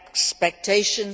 expectations.